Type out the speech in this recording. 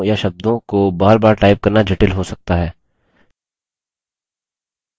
उन वाक्यों या शब्दों को बार बार type करना जटिल हो सकता है